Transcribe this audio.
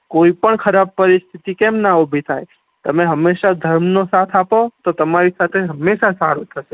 કોઈ પણ ખરાબ પરીશ્થીતી કેમ ના ઉભી થાય તમે હમેશા ધર્મ નો સાથ આપો તો તેમારી સાથે હમેશા સારું થા સે